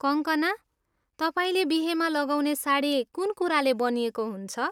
कङ्कना, तपाईँले बिहेमा लगाउने साडी कुन कुराले बनिएको हुन्छ?